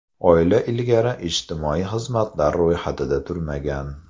Oila ilgari ijtimoiy xizmatlar ro‘yxatida turmagan.